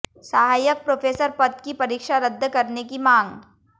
सहायक प्रोफेसर पद की परीक्षा रद्द करने की मांग